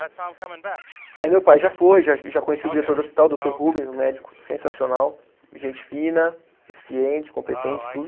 Aí meu pai já foi, já já conhecia o diretor do hospital, o doutor Rubens, um médico sensacional, gente fina, eficiente, competente, tudo.